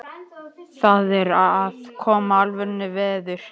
Það er að koma alvöru veður.